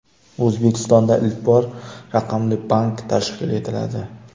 O‘zbekistonda ilk bor raqamli bank tashkil etiladi.